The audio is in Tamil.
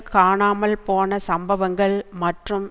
காணாமல் போன சம்பவங்கள் மற்றும்